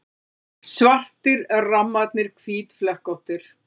Svartir rammarnir hvítflekkóttir.